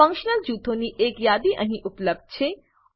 functional જૂથોની એક યાદી અહીં ઉપલબ્ધ છે